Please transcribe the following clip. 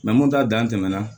mun ta dan tɛmɛna